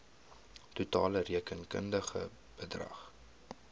totale rekenkundige bedrag